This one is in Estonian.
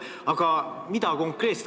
Aga mida konkreetselt on tehtud?